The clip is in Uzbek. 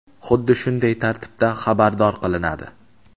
xuddi shunday tartibda xabardor qilinadi.